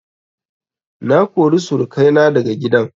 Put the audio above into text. Na kori surukai na daga gidan